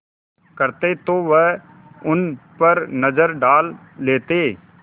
करते तो वह उन पर नज़र डाल लेते